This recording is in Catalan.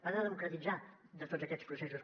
va de democratitzar tots aquests processos